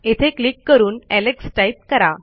येथे क्लिक करून Alex type करा